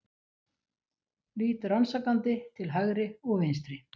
Lít rannsakandi til hægri og vinstri.